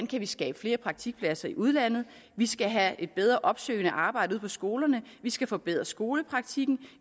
kan skabe flere praktikpladser i udlandet vi skal have et bedre opsøgende arbejde ude på skolerne vi skal forbedre skolepraktikken